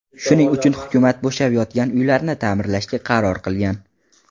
Shuning uchun hukumat bo‘shab yotgan uylarni ta’mirlashga qaror qilgan.